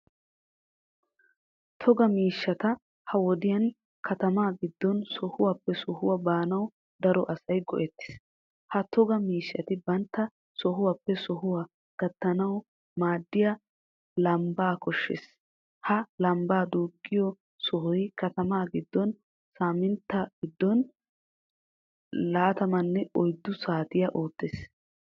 Toga miishshata ha wodiyan katama giddon sohuwappe sohuwaa baanawu daro asay go"etees. Ha toga miishshati banttana sohuwaappe sohuwaa qaattanawu maaddiya lambba koshshees. Ha lambba duuqqiyo sohoy katamaa giddon saamintta giddon laattamane oyddu saatiya oottees.